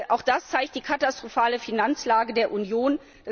Auch das zeigt die katastrophale Finanzlage der Union.